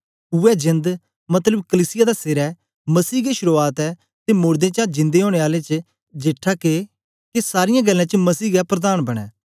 उवै जेंद मतलब कलीसिया दा सेर ऐ मसीह गै शुरुआत ऐ ते मोड़दें चा जिन्दा ओनें आलें च जेठा के सारीयें गल्लें च मसीह गै प्रधान बनें